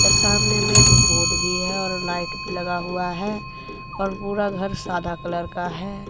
पर सामने में एक बोर्ड भी है और लाइट भी लगा हुआ है और पूरा घर सादा कलर का है।